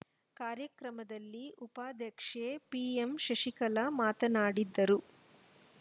ಕಾರ್ಯಕ್ರಮದಲ್ಲಿ ಉಪಾಧ್ಯಕ್ಷೆ ಪಿಎಂಶಶಿಕಲಾ ಮಾತನಾಡಿದರು